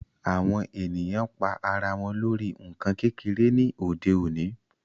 Awọn èniyàn pa àrà wọn lórí nkán kékere ni òde òní